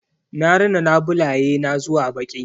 Na rina labulaye na zuwa baƙi.